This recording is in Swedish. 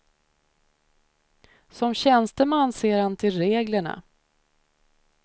Som tjänsteman ser han till reglerna.